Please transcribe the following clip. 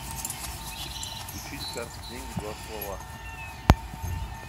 включить карты деньги два ствола